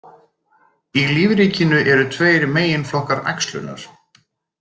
Í lífríkinu eru tveir meginflokkar æxlunar.